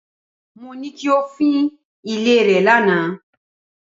Mo ní kí o fín ilé rẹ lánàá.